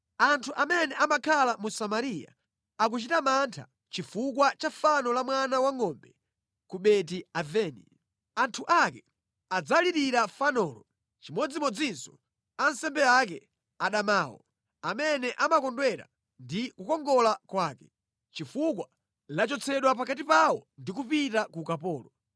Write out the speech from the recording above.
Anthu amene amakhala mu Samariya akuchita mantha chifukwa cha fano la mwana wangʼombe ku Beti-Aveni. Anthu ake adzalirira fanolo, chimodzimodzinso ansembe ake adamawo, amene anakondwera ndi kukongola kwake, chifukwa lachotsedwa pakati pawo ndi kupita ku ukapolo.